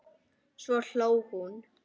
Svo hló hún.